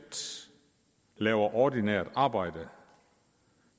laver ordinært arbejde